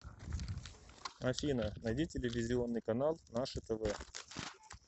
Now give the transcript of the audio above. афина найди телевизионный канал наше тв